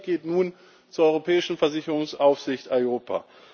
Unser Blick geht nun zur europäischen Versicherungsaufsicht EIOPA.